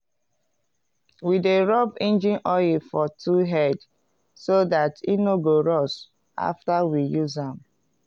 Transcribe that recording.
we dey rub engine oil for tool head so dat e no go rust after we use am.